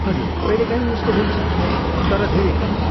हजुर, कहिलेकाहीँ यस्तो हुन्छ, तर धेरै कम।